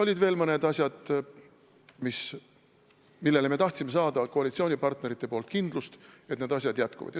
Olid veel mõned asjad, mille puhul me tahtsime saada koalitsioonipartneritelt kindlust, et need asjad jätkuvad.